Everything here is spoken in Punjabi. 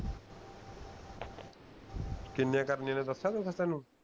ਕਿੰਨੇ ਕਰਨੇ ਹੈ ਓਹਨੇ ਦੱਸਿਆ ਸੀ ਕੇ ਤੁਹਾਨੂੰ